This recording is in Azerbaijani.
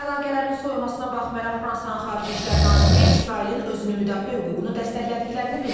Əlaqələrin soyumasına baxmayaraq Fransanın Xarici İşlər naziri İsrailin özünü müdafiə hüququnu dəstəklədiklərini bildirib.